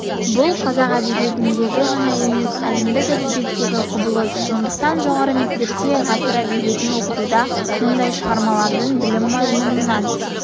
бұл қазақ әдебиетіндегі ғана емес әлемдік әдебиеттегі құбылыс сондықтан жоғары мектепте ғасыр әдебиетін оқытуда мұндай шығармалардың білім мазмұнынан